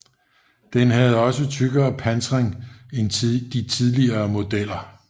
Den havde også tykkere pansring end de tidligere modeller